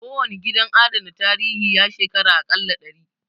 Kowane gidan adana tarihi, ya shekara a ƙalla dari